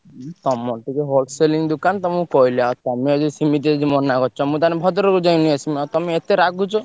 ଉଁ ତମର ତ ଯୋଉ whole selling ଦୋକାନ ତମୁକୁ କହିଲି ଆଉ ତମେ ଯଦି ସିମିତି ଯଦି ମନା କରୁଚ ମୁଁ ତାହେଲେ ଭଦ୍ରକରୁ ଯାଇ ନେଇଆସିବି, ଆଉ ତମେ ଏତେ ରାଗୁଛ।